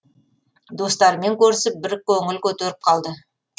достарымен көрісіп бір көңіл көтеріп қалды